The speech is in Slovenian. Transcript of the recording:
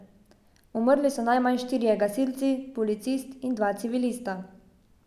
Umrli so najmanj štirje gasilci, policist in dva civilista.